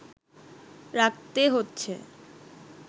রাখতে হচ্ছে